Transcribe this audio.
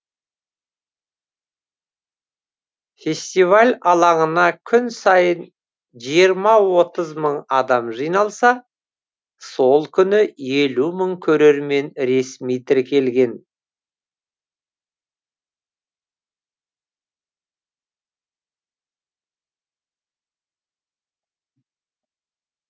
фестиваль алаңына күн сайын жиырма отыз мың адам жиналса сол күні елу мың көрермен ресми тіркелген